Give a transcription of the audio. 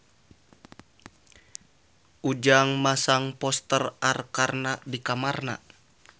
Ujang masang poster Arkarna di kamarna